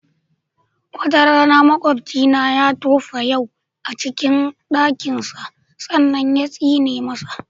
Wata rana maƙobcina ya tofa yau a jikin ɗansa sannan yatsine masa.